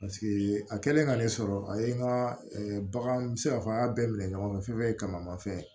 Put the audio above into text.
Paseke a kɛlen ka ne sɔrɔ a ye n ka bagan n bɛ se k'a fɔ an y'a bɛɛ minɛ ɲɔgɔn fɛ fɛn fɛn ye kamanama fɛn ye